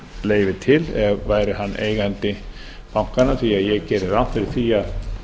leyfi til væri hann eigandi bankanna því að ég geri ráð fyrir því að